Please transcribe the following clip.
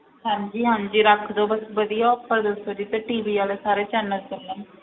ਹਾਂਜੀ ਹਾਂਜੀ ਰੱਖ ਦਓ ਬਸ ਵਧੀਆ offer ਦੱਸੋ ਜਿਸ ਤੇ TV ਵਾਲੇ ਸਾਰੇ channel ਚੱਲਣ।